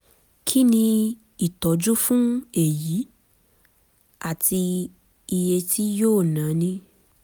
kí ni ìtọ́jú fún èyí àti iye tí yóò náni